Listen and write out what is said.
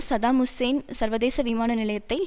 Saddam Hussein சர்வதேச விமான நிலையத்தை